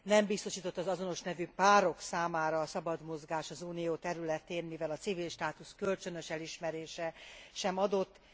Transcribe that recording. Nem biztosított az azonos nemű párok számára a szabad mozgás az Unió területén, mivel a civil státusz kölcsönös elismerése sem adott.